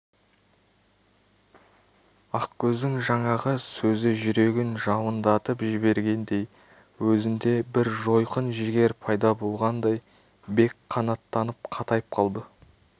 ақкөздің жаңағы сөзі жүрегін жалындатып жібергендей өзінде бір жойқын жігер пайда болғандай бек қанаттанып қатайып қалды